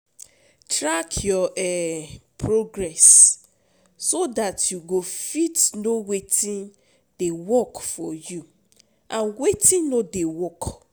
Track your um progress so dat you go fit know wetin dey work for you and wetin no dey work